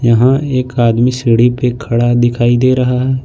यहां एक आदमी सीढ़ी पे खड़ा दिखाई दे रहा है।